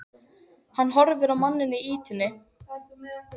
Hann horfir á manninn í ýtunni.